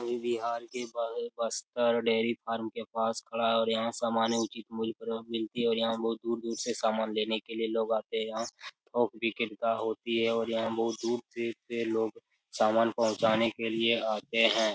कोई बिहार के बगल बस पर डेरी फार्म के पास खड़ा है और यहाँ समानें उचित मूल्य पर मिलती है और यहाँ बहुत दूर-दूर से सामान लेने के लिए लोग आते हैं | यहाँ थोक विक्रेता होती है और यहाँ बहुत दूर-दूर के लोग सामान पहुंचाने के लिए आते हैं।